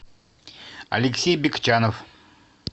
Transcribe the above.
алексей бекчанов